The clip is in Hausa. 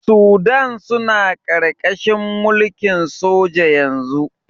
Sudan suna ƙarƙarahin mulkin soja yanzu.